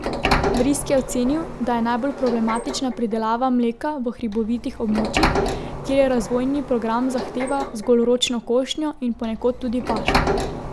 Vrisk je ocenil, da je najbolj problematična pridelava mleka v hribovitih območjih, kjer razvojni program zahteva zgolj ročno košnjo in ponekod tudi pašo.